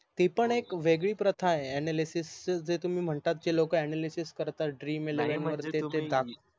ती पन एक वेगळी प्रथा आहे ANALYSIS जे तुम्ही म्हणतात जे लोक ANALYSIS करतात DREAMELEVEN वर